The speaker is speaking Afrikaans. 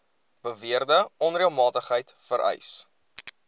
beweerde onreëlmatigheid vereis